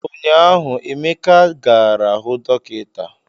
Ụnyahụ Emeka gara hụ dọkịta